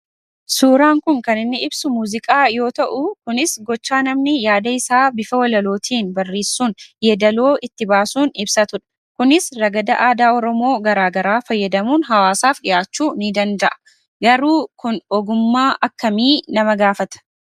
Suuraan kun kan inni ibsu muuziqaa yoo ta'u kunis gochaa namni yaada isaa bifa walalootiin barreessuun yeedaloo itti baasuun ibsatudha. Kunis ragada aadaa oromoo garaa garaa fayyadamuun hawaasaaf dhiyaachuu ni danda'a. Garuu kun ogummaa akkamii nama gaafata?